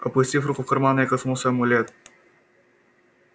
опустив руку в карман я коснулся амулет